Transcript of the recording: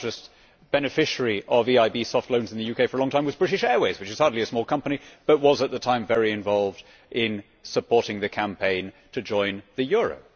The largest beneficiary of EIB soft loans in the UK, for a long time, was British Airways, which is hardly a small company but was at the time very involved in supporting the campaign to join the euro.